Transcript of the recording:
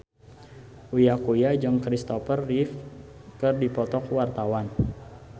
Uya Kuya jeung Christopher Reeve keur dipoto ku wartawan